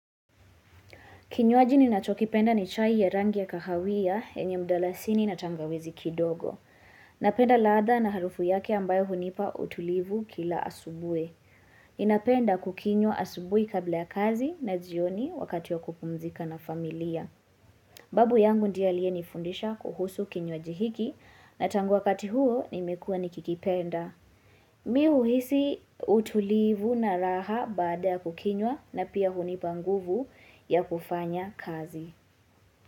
Kinywaji ninachokipenda ni chai ya rangi ya kahawa yenye mdalasini na tangawizi kidogo. Napenda ladha na harufu yake ambayo hunipa utulivu kila asubuhi. Ninapenda kukinywa asubuhi kabla ya kazi na jioni wakati ya kupumzika na familia. Babu yangu ndiye aliyenifundisha kuhusu kinywaji hiki na tangu wakati huo, nimekuwa nikikipenda. Mimi uhisi utulivu na raha baada kukinywa na pia hunipa nguvu ya kufanya kazi.